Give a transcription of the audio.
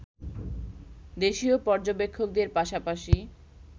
দেশীয় পর্যবেক্ষকদের পাশাপাশি